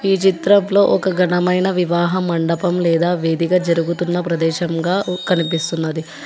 ఈ చిత్రంలో ఒక ఘనమైన వివాహం మండపం లేదా వేడుక జరుగుతున్న ప్రదేశంగా కనిపిస్తున్నది.